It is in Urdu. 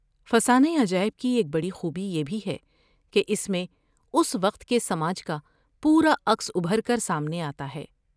فسانۂ عجائب '' کی ایک بڑی خوبی یہ بھی ہے کہ اس میں اس وقت کے سماج کا پورانکس ابھر کر سامنے آتا ہے ۔